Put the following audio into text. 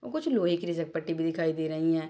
और कुछ लोहे की फिसल पट्टी भी दिखाई दे रही है।